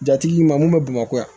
Jatigi ma mun bɛ bamakɔ yan